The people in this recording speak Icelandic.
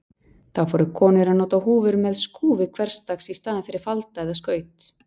Þá fóru konur að nota húfur með skúfi hversdags í staðinn fyrir falda eða skaut.